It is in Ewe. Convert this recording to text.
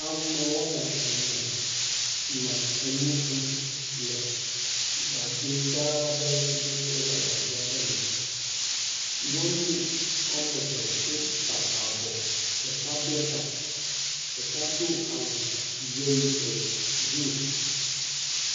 Ame wɔme ene nɔ enu ɖum le gagbegã aɖe si nye silva gagbe aɖe me. Nyɔnu wɔme ve wota avɔ ɖeka ble ta ɖeka do awu yelo e blu.